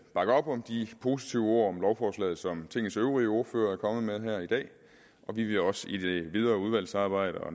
bakke op om de positive ord om lovforslaget som tingets øvrige ordførere er kommet med her i dag og vi vil også i det videre udvalgsarbejde og